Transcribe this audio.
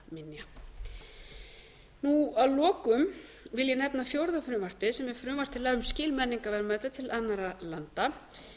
jarðfastra muna að lokum vil ég nefna fjórða frumvarpið sem er frumvarp til laga um skil menningarverðmæta til annarra landa